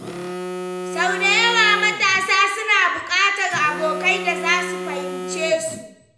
Sau da yawa, matasa suna buƙatar abokai da za su fahimce su.